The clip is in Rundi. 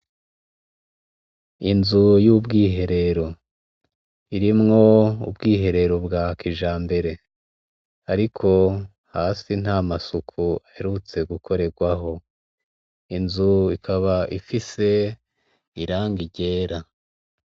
Inzu y'ubwiherero irimwo ubwiherero bwa kijambere, ariko hasi nta masuku aherutse gukorerwaho. Inzu ikaba ifise irangi gera.